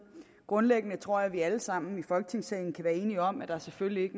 grundlæggende tror jeg at vi alle sammen i folketingssalen kan være enige om at der selvfølgelig ikke